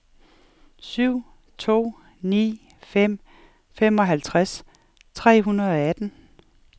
syv to ni fem femoghalvtreds tre hundrede og atten